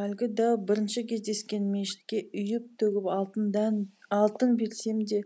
әлгі дәу бірінші кездескен мешітке үйіп төгіп алтын берсем де